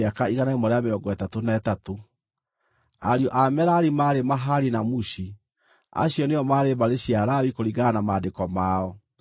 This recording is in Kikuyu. Ariũ a Merari maarĩ Mahali na Mushi. Acio nĩo maarĩ mbarĩ cia Lawi kũringana na maandĩko mao.